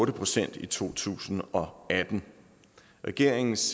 procent i to tusind og atten regeringens